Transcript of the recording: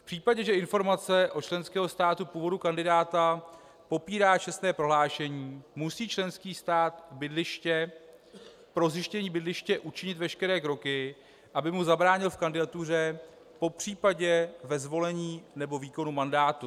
V případě, že informace od členského státu původu kandidáta popírá čestné prohlášení, musí členský stát bydliště... pro zjištění bydliště učinit veškeré kroky, aby mu zabránil v kandidatuře (?), popřípadě ve zvolení nebo výkonu mandátu.